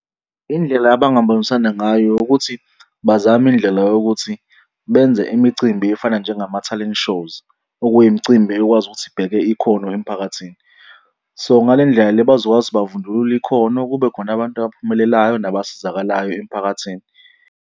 Indlela abangabonisana ngayo ukuthi bazame indlela yokuthi benze imicimbi efana njengama-talent shows, okuyimicimbi ekwazi ukuthi ibheke ikhono emiphakathini. So, ngale ndlela le bazokwazi bavundulule ikhono, kube khona abantu abaphumelelayo nabasizakalayo emphakathini.